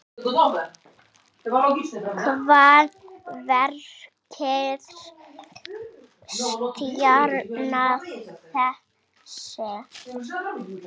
Hvað merkir stjarna þessi?